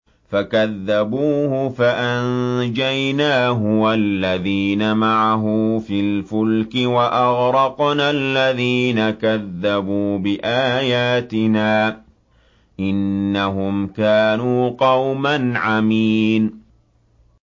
فَكَذَّبُوهُ فَأَنجَيْنَاهُ وَالَّذِينَ مَعَهُ فِي الْفُلْكِ وَأَغْرَقْنَا الَّذِينَ كَذَّبُوا بِآيَاتِنَا ۚ إِنَّهُمْ كَانُوا قَوْمًا عَمِينَ